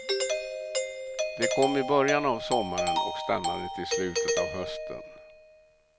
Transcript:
De kom i början av sommaren och stannade till slutet av hösten.